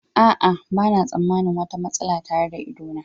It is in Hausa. A'a, ba na tsammanin wata matsala tare da idona.